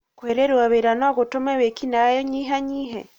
kwĩrĩrũo wĩra nogũtũme wĩĩkinaĩ ũnyihanyihe?